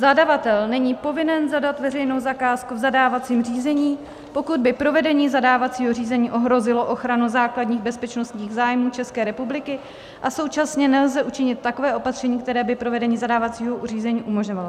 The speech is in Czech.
Zadavatel není povinen zadat veřejnou zakázku v zadávacím řízení, pokud by provedení zadávacího řízení ohrozilo ochranu základních bezpečnostních zájmů České republiky a současně nelze učinit takové opatření, které by provedení zadávacího řízení umožňovalo.